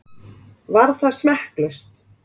Var það smekklaust?